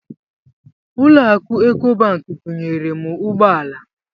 Ụlọ akụ Ekobanki bunyere m ụgbọala.